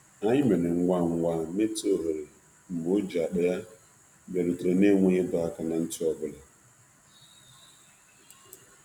Anyị mere ngwa ngwa meta ohere mgbe o ji akpa ya bịarutere n'enweghị ịdọ aka ná ntị ọ bụla.